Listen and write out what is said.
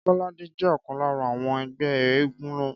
Kọ́ládé jẹ́ ọ̀kan lára àwọn ẹgbẹ́ éégún náà